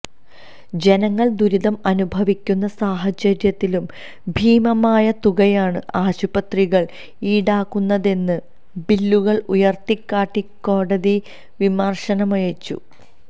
ജനങ്ങൾ ദുരിതം അനുഭവിക്കുന്ന സാഹചര്യത്തിലും ഭീമമായ തുകയാണ് ആശുപത്രികൾ ഈടാക്കുന്നതെന്ന് ബില്ലുകൾ ഉയർത്തിക്കാട്ടി കോടതി വിമർശനമുന്നയിച്ചു